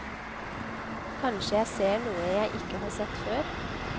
Kanskje jeg ser noe jeg ikke har sett før.